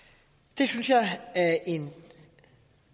det synes jeg er en